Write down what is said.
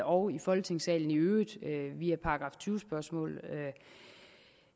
og i folketingssalen i øvrigt via § tyve spørgsmål